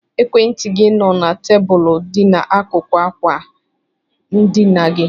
Ekwentị gị nọ na tebụlụ dị n'akụkụ ákwà ndịna gị.